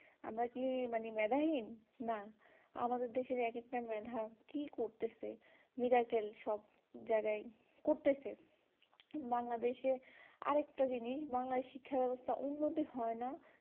আমরা কি মেধা হীন না আমাদের দেশ এর এক একটা মেধা কি করতেছে মিরাক্কেল সব জায়গায় করতেছে বাংলাদেশ এ আর একটা জিনিস বাংলাদেশে এ শিক্ষা ব্যবস্থার উন্নতি হয়না